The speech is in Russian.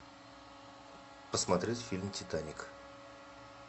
посмотреть фильм титаник